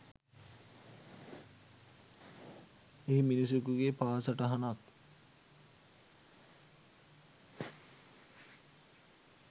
එහි මිනිසකුගේ පා සටහනක්